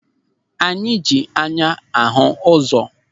Anyị ji anya ahụ ụzọ.